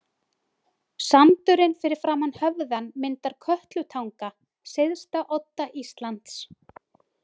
Sandurinn fyrir framan höfðann myndar Kötlutanga, syðsta odda Íslands.